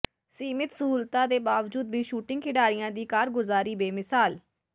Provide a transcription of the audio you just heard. ਸੀਮਿਤ ਸਹੂਲਤਾਂ ਦੇ ਬਾਵਜੂਦ ਵੀ ਸ਼ੂਟਿੰਗ ਖਿਡਾਰੀਆਂ ਦੀ ਕਾਰਗੁਜ਼ਾਰੀ ਬੇਮਿਸਾਲ